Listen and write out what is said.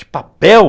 De papel?